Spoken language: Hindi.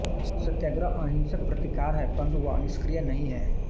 सत्याग्रह अहिंसक प्रतिकार है परंतु वह निष्क्रिय नहीं है